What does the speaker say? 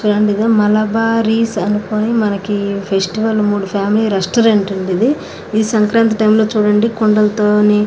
మలబారీస్ అనుకొని మనకీ ఫెస్టివల్ . మూడు ఫ్యామిలీ రెస్టారెంట్ అండీ ఇది. ఇది సంక్రాంతి టైమ్ లో చూడండి కుండల్ తోని--